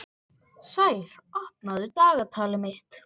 Sær, opnaðu dagatalið mitt.